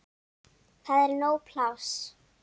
Það er nóg pláss.